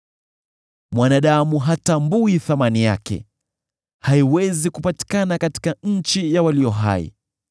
Mwanadamu hatambui thamani yake; haiwezi kupatikana katika nchi ya walio hai.